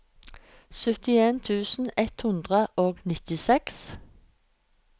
syttien tusen ett hundre og nittiseks